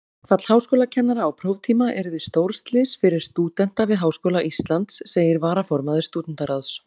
Verkfall háskólakennara á próftíma yrði stórslys fyrir stúdenta við Háskóla Íslands, segir varaformaður Stúdentaráðs.